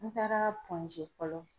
N taara pɔnze fɔlɔ.